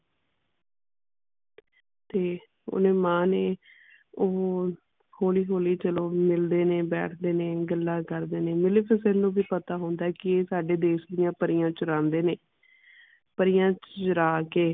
ਤੇ ਉਹ ਨੇ ਮਾਂ ਨੇ ਓ ਹੌਲੀ ਹੌਲੀ ਚਲੋ ਮਿਲਦੇ ਨੇ ਬੈਠਦੇ ਨੇ ਗੱਲਾਂ ਕਰਦੇ ਨੇ। ਮਲਿਫੀਸੈਂਟ ਨੂੰ ਵੀ ਪਤਾ ਹੁੰਦਾ ਕੇ ਇਹ ਸਾਡੇ ਦੇਸ਼ ਦੀਆ ਪਰੀਆਂ ਚੁਰਾਉਂਦੇ ਨੇ। ਪਰੀਆਂ ਚੁਰਾ ਕੇ